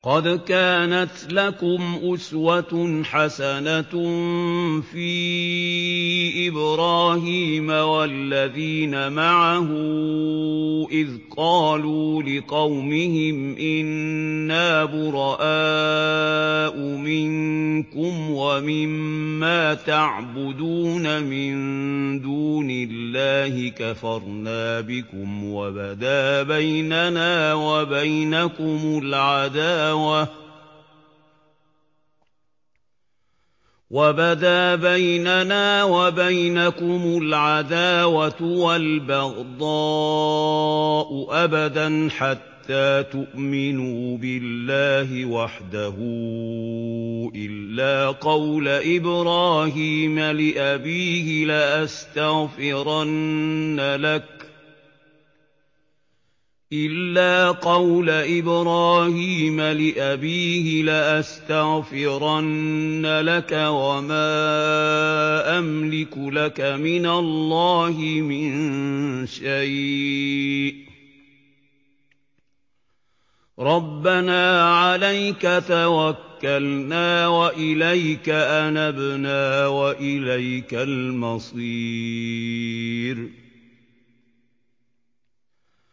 قَدْ كَانَتْ لَكُمْ أُسْوَةٌ حَسَنَةٌ فِي إِبْرَاهِيمَ وَالَّذِينَ مَعَهُ إِذْ قَالُوا لِقَوْمِهِمْ إِنَّا بُرَآءُ مِنكُمْ وَمِمَّا تَعْبُدُونَ مِن دُونِ اللَّهِ كَفَرْنَا بِكُمْ وَبَدَا بَيْنَنَا وَبَيْنَكُمُ الْعَدَاوَةُ وَالْبَغْضَاءُ أَبَدًا حَتَّىٰ تُؤْمِنُوا بِاللَّهِ وَحْدَهُ إِلَّا قَوْلَ إِبْرَاهِيمَ لِأَبِيهِ لَأَسْتَغْفِرَنَّ لَكَ وَمَا أَمْلِكُ لَكَ مِنَ اللَّهِ مِن شَيْءٍ ۖ رَّبَّنَا عَلَيْكَ تَوَكَّلْنَا وَإِلَيْكَ أَنَبْنَا وَإِلَيْكَ الْمَصِيرُ